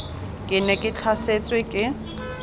ke ne ke tlhasetswe ke